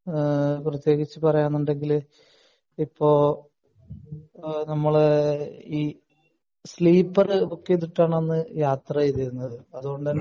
ആഹ് പ്രത്യേകിച്ച് പറയാനുണ്ടെങ്കിൽ ഇപ്പൊ ആഹ് നമ്മൾ ഈഹ് സ്ലീപ്പർ ബുക്ക് ചെയ്തിട്ടാണ് അന്ന് യാത്ര ചെയ്തിരുന്നത് അതുകൊണ്ടുതന്നെ